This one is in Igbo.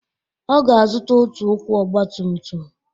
Ọ ga-azụta otu ụkwụ ọgbatumtum.